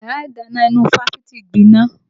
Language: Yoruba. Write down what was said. Yàrá ìdáná ìnú ifáfitì gbiná